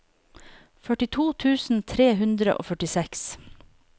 førtito tusen tre hundre og førtiseks